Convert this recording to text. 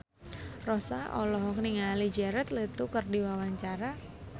Rossa olohok ningali Jared Leto keur diwawancara